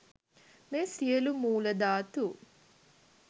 මේ සියලු මූල ධාතු